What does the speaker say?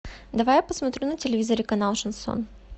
давай я посмотрю на телевизоре канал шансон